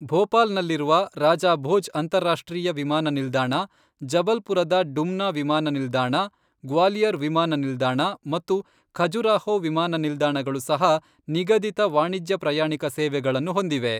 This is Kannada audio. ಭೋಪಾಲ್ನಲ್ಲಿರುವ ರಾಜಾ ಭೋಜ್ ಅಂತಾರಾಷ್ಟ್ರೀಯ ವಿಮಾನ ನಿಲ್ದಾಣ, ಜಬಲ್ಪುರದ ಡುಮ್ನಾ ವಿಮಾನ ನಿಲ್ದಾಣ, ಗ್ವಾಲಿಯರ್ ವಿಮಾನ ನಿಲ್ದಾಣ ಮತ್ತು ಖಜುರಾಹೋ ವಿಮಾನ ನಿಲ್ದಾಣಗಳು ಸಹ ನಿಗದಿತ ವಾಣಿಜ್ಯ ಪ್ರಯಾಣಿಕ ಸೇವೆಗಳನ್ನು ಹೊಂದಿವೆ.